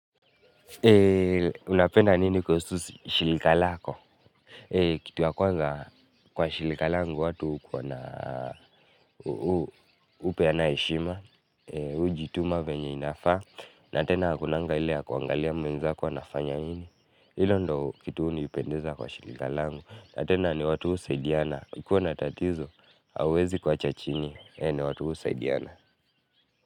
Unapenda nini kwa kuhusu shirika lako? Kitu ya kwanza kwa shirika langu ni watu hukuwa na, hupeana heshima, kujituma vile inavyofaa, na tena hakuna kuangalia mwenzako anafanya nini. Hilo ndiyo kitu hunipendeza kwa shirika langu na tena ni watu husaidiana. Ukiwa na tatizo, hawawezi kuacha chini, ni watu husaidiana.